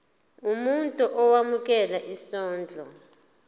umuntu owemukela isondlo